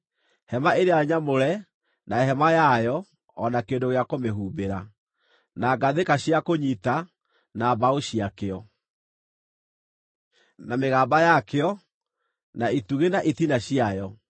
Hema ĩrĩa nyamũre na hema yayo o na kĩndũ gĩa kũmĩhumbĩra, na ngathĩka cia kũnyiita, na mbaũ ciakĩo, na mĩgamba yakĩo, na itugĩ na itina ciayo;